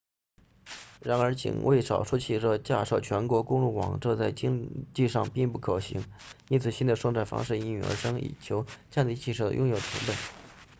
然而仅为少数汽车架设全国公路网这在经济上并不可行因此新的生产方式应运而生以求降低汽车的拥有成本